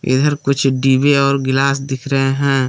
इधर कुछ डिबे और गिलास दिख रहे हैं।